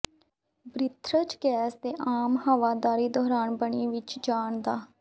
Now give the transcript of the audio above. breathers gas ਦੇ ਆਮ ਹਵਾਦਾਰੀ ਦੌਰਾਨ ਬਣੀ ਵਿਚ ਜਾਣ ਦਾ